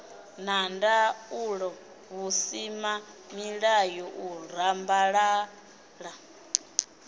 na ndaulo vhusimamilayo u rambalala